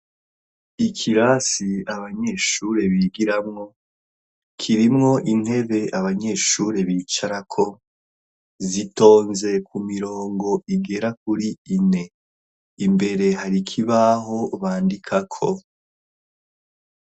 ikirasi abanyeshure bigiramwo kirimwo intebe abanyeshure bicara ko zitonze ku mirongo igera kuri ine imbere harikibaho bandika ko